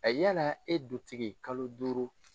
A yala e dutigi kalo duuru